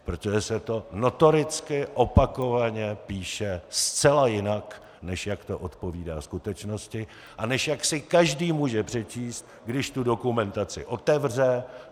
Protože se to notoricky opakovaně píše zcela jinak, než jak to odpovídá skutečnosti a než jak si každý může přečíst, když tu dokumentaci otevře.